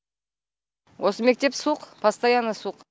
осы мектеп суық постоянно суық